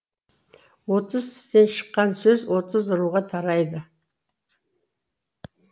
отыз тістен шыққан сөз отыз руға тарайды